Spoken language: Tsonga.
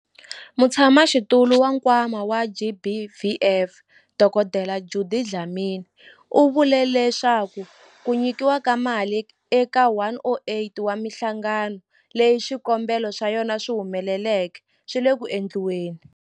Mutshamaxitulu wa Nkwama wa GBVF, Dkd Judy Dlamini, u vule leswaku ku nyikiwa ka mali eka 108 wa mihlangano leyi swikombelo swa yona swi humeleleke swi le ku endliweni.